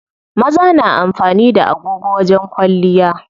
Maza na amfani da agogo wajen kwalliya.